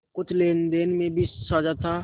कुछ लेनदेन में भी साझा था